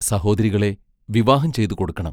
സഹോദരികളെ വിവാഹം ചെയ്തുകൊടുക്കണം.